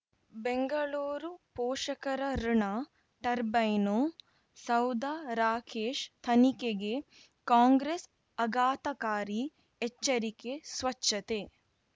ಬೆಂಗಳೂರು ಪೋಷಕರಋಣ ಟರ್ಬೈನು ಸೌಧ ರಾಕೇಶ್ ತನಿಖೆಗೆ ಕಾಂಗ್ರೆಸ್ ಅಘಾತಕಾರಿ ಎಚ್ಚರಿಕೆ ಸ್ವಚ್ಛತೆ